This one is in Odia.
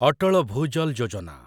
ଅଟଳ ଭୁଜଲ ଯୋଜନା